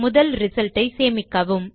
முதல் ரிசல்ட் ஐ சேமிக்கவும்